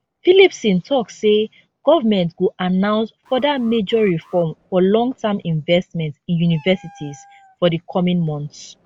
phillipson tok say government go announce further major reform for longterm investment in universities for di coming months